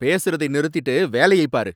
பேசுறதை நிறுத்திட்டு வேலையைப் பாரு!